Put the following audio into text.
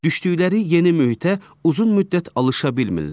Düşdükləri yeni mühitə uzun müddət alışa bilmirlər.